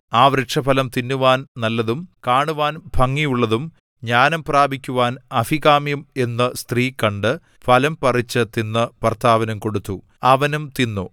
ആ വൃക്ഷഫലം തിന്നുവാൻ നല്ലതും കാണുവാൻ ഭംഗിയുള്ളതും ജ്ഞാനം പ്രാപിക്കുവാൻ അഭികാമ്യവും എന്നു സ്ത്രീ കണ്ട് ഫലം പറിച്ചു തിന്നു ഭർത്താവിനും കൊടുത്തു അവനും തിന്നു